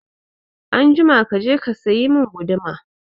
Anjima kaje ka sayi mun guduma